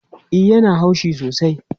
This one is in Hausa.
E, ya na haushi sosai